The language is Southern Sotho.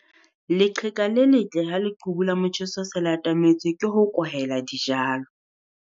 Leqheka le letle ha leqhubu la motjheso se le atametse ke ho kwahela dijalo.